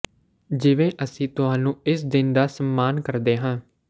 ਜਿਵੇਂ ਅਸੀਂ ਤੁਹਾਨੂੰ ਇਸ ਦਿਨ ਦਾ ਸਨਮਾਨ ਕਰਦੇ ਹਾਂ